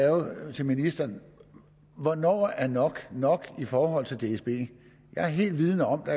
til ministeren er hvornår er nok nok i forhold til dsb jeg er vidende om at